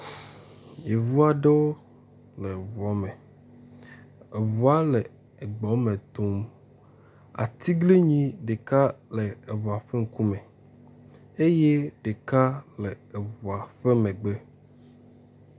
Yevuaɖewo le ʋua me, eʋua le egbɔme tom, atiglinyi ɖeka le ʋua ƒe ŋkume eyɛ ɖeka le eʋua ƒe megbe